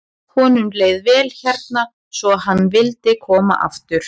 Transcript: Honum leið vel hérna svo hann vildi koma aftur.